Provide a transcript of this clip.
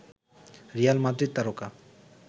Real Madrid তারকা